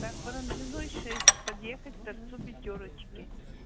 так барамзиной шесть подъехать к торцу пятёрочки